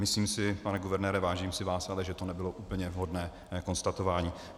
Myslím si, pane guvernére, vážím si vás, ale že to nebylo úplně vhodné konstatování.